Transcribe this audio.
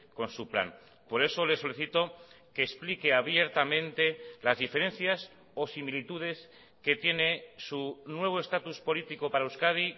con su plan por eso le solicito que explique abiertamente las diferencias o similitudes que tiene su nuevo estatus político para euskadi